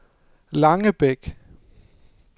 Langebæk